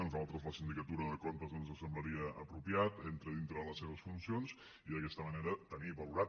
a nosaltres la sindicatura de comptes ens semblaria apropiat entra dintre de les seves funcions i d’aquesta manera tenir valorat